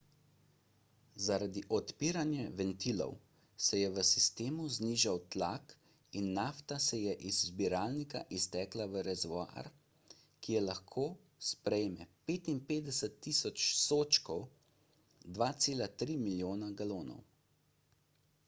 zaradi odpiranja ventilov se je v sistemu znižal tlak in nafta je iz zbiralnika iztekla v rezervoar ki lahko sprejme 55.000 sodčkov 2,3 milijona galon